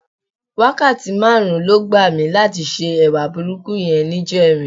Wákàtí márùn-ún ló gbà mí láti se ẹwà burúkú yẹn níjẹrin.